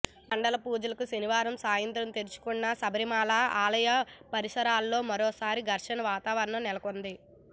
మండల పూజలకు శనివారం సాయంత్రం తెరుచుకున్న శబరిమల ఆలయ పరిసరాల్లో మరోసారి ఘర్షణ వాతావరణం నెలకుంది